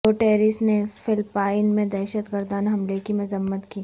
Guterres نے Philippines میں دہشت گردانہ حملے کی مذمت کی